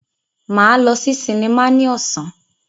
Máa lọ sí sinimá ní ọ̀sán.